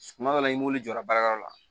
Suma dɔ la i m'olu jɔra baarakɛyɔrɔ la